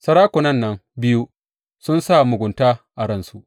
Sarakunan nan biyu sun sa mugunta a ransu.